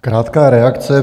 Krátká reakce.